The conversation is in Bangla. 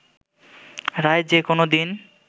রায় যে কোনো দিন